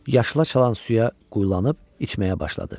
Yaşıl çalayan suya quyulanıb içməyə başladı.